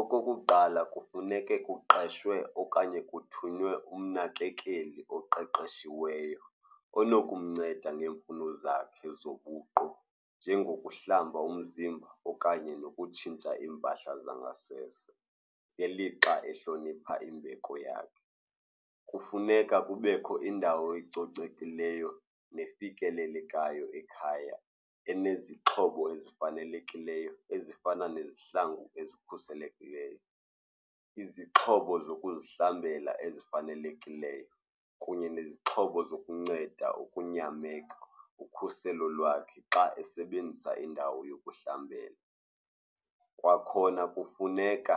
Okokuqala, kufuneke kuqeshwe okanye kuthunywe umnakekeli oqeqeshiweyo onokumnceda ngeemfuno zakhe zobuqu, njengokuhlamba umzimba okanye nokutshintsha iimpahla zangasese ngelixa ehlonipha imbeko yakhe. Kufuneka kubekho indawo ecocekileyo nefikelelekayo ekhaya enezixhobo ezifanelekileyo ezifana nezihlangu ezikhuselekileyo, izixhobo zokuzihlamba ezifanelekileyo kunye nezixhobo zokunceda ukunyameka ukhuselo lwakhe xa esebenzisa indawo yokuhlamba. Kwakhona kufuneka